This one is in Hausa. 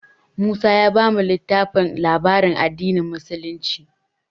Musa ya bamu littafin labaran addinin musulunci.